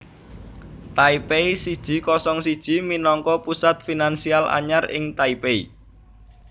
Taipei siji kosong siji minangka pusat finansial anyar ing Taipei